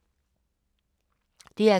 DR K